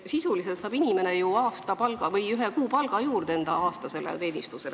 Sisuliselt saab inimene ju ühe kuupalga juurde enda aastasele teenistusele.